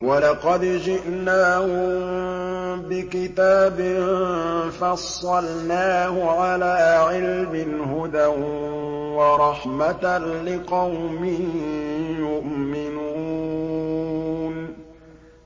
وَلَقَدْ جِئْنَاهُم بِكِتَابٍ فَصَّلْنَاهُ عَلَىٰ عِلْمٍ هُدًى وَرَحْمَةً لِّقَوْمٍ يُؤْمِنُونَ